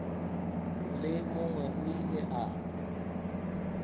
le mongwe o ile a